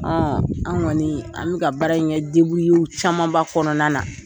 an kɔni an bɛ ka baara in kɛ camanba kɔnɔna na